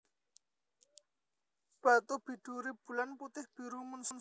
Batu biduri Bulan putih biru moon stone